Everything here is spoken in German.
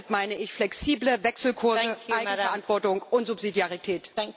Damit meine ich flexible Wechselkurse, Eigenverantwortung und Subsidiarität.